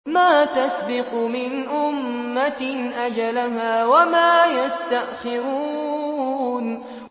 مَّا تَسْبِقُ مِنْ أُمَّةٍ أَجَلَهَا وَمَا يَسْتَأْخِرُونَ